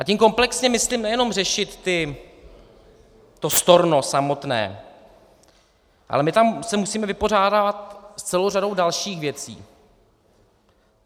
A tím komplexně myslím nejenom řešit to storno samotné, ale my tam se musíme vypořádávat s celou řadou dalších věcí.